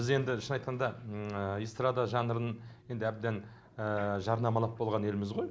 біз енді шын айтқанда эстрада жанрын енді әбден жарнамалап болған елміз ғой